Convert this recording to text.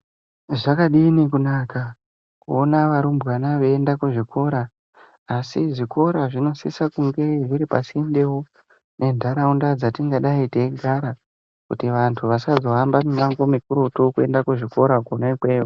Zvakadini kunaka kuona varumbwana veiyenda kuzvikora . Asi zvikora zvinosisa kunge zviri pasundewo ne ntaraunda dzatingadai teigara kuti vantu vasazohamba minangwo mikurutu kuenda kuzvikora kona ikweyo